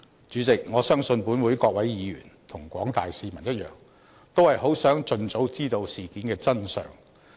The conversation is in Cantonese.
主席，我相信本會各位議員和廣大市民一樣，都是很想盡早知道事件的真相。